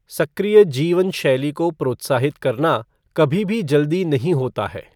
सक्रिय जीवन शैली को प्रोत्साहित करना कभी भी जल्दी नहीं होता है।